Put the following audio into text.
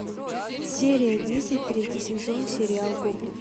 серия десять третий сезон сериал гоблин